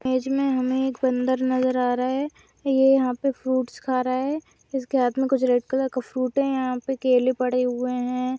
Cage मे हमे एक बंदर नजर आ रहा है ये यहाँ पे फ्रूट्स खा रहा है इस के हाथ मे कुछ रेड कलर का फ्रूट है यहाँ पे केले पड़े हुए है।